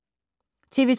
TV 2